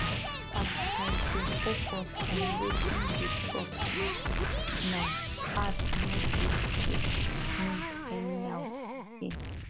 as i dey focus on watin dey sup now now heart nor dey shake me anyhow again